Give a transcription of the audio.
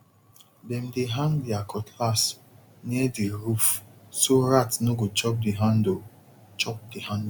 dem dey hang their cutlass near the roof so rat no go chop the handle chop the handle